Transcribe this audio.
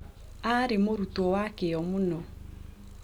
Aarĩ mũrutwo wĩ kĩyo mũno.